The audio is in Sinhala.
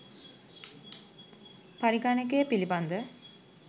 පරිගණකය පිළිබඳ